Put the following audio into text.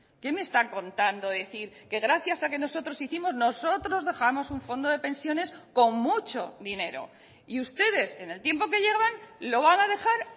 qué me están contando decir que gracias a que nosotros hicimos nosotros dejamos un fondo de pensiones con mucho dinero y ustedes en el tiempo que llevan lo van a dejar